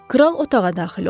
Kral otağa daxil oldu.